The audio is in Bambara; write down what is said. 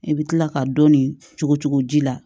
I bɛ tila ka dɔɔnin cogo cɔgu ji la